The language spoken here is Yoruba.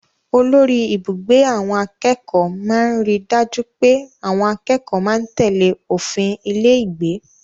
Olórí-ibùgbé àwọn akẹ́kọ̀ọ́ máa ń ri dájú pé àwọn akẹ́kọ̀ọ́ máa ń tèlé òfin ilé-ìgbé.